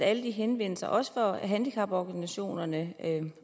alle henvendelserne også fra handicaporganisationerne